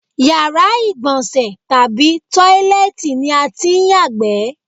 Yàrá ìgbò̩nsè̩ tàbí tóílé̩è̩tì ni a tí ń yàgbé̩.